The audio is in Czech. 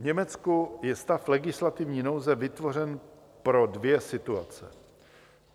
V Německu je stav legislativní nouze vytvořen pro dvě situace.